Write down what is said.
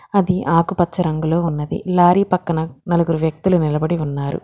అది ఆకుపచ్చ రంగులో ఉన్నది లారీ పక్కన నలుగురు వ్యక్తులు నిలబడి ఉన్నారు.